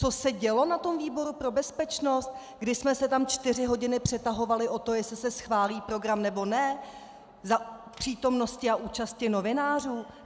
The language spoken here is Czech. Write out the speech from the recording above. Co se dělo na tom výboru pro bezpečnost, když jsme se tam čtyři hodiny přetahovali o to, jestli se schválí program, nebo ne, za přítomnosti a účasti novinářů?